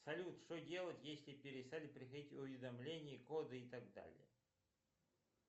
салют что делать если перестали приходить уведомления коды и так далее